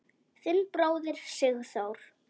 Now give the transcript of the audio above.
Þinn bróðir, Sigþór.